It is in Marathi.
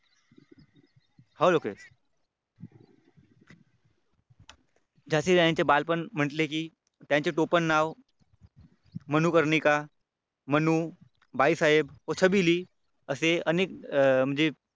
होय लोकेश झाशीच्या राणीचे बालपण म्हटले की त्यांचे टोपण नाव मनूकरनिका, मनू, बाईसाहेब व सबिली असे अनेक म्हणजे